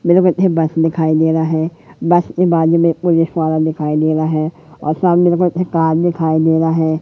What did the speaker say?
बस दिखाई दे रहा है बस के बाद में पुलिस वाला दिखाई दे रहा है और सामने कार दिखाई दे रहा है।